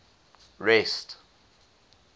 rest